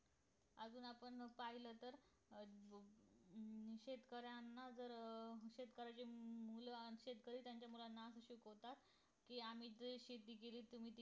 अजून आपण पाहिलं तर अं अं शेतकऱ्यांना जर शेतकऱ्याचे अं शेतकरी त्याच्या मुलांना अं शिकवतात कि आम्ही जे शेती केली